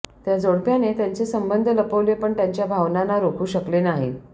त्या जोडप्याने त्यांचे संबंध लपवले पण त्यांच्या भावनांना रोखू शकले नाहीत